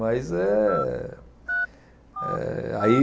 Mas eh eh aí...